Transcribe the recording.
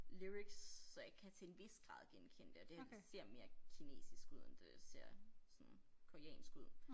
Lyrics så jeg kan til en vis grad genkende det og det ser mere kinesisk ud end det ser sådan koreansk ud